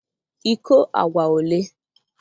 iko agwa ole?